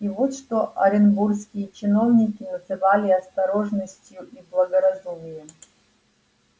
и вот что оренбургские чиновники называли осторожностью и благоразумием